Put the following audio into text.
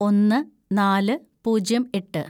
ഒന്ന് നാല് പൂജ്യം എട്ട്‌